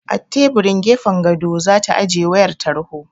A teburin gefen gado za ta ajiye wayar tarho.